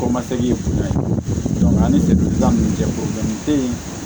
Kɔmasegin ye kunda ye an ni fan min cɛ te yen